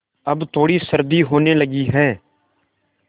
अब थोड़ी सर्दी होने लगी है